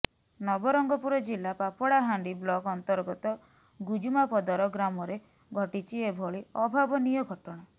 ନବରଙ୍ଗପୁର ଜିଲ୍ଲା ପାପଡାହାଣ୍ଡି ବ୍ଲକ ଅନ୍ତର୍ଗତ ଗୁଜୁମାପଦର ଗ୍ରାମରେ ଘଟିଛି ଏଭଳି ଅଭାବନୀୟ ଘଟଣା